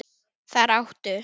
Þar áttu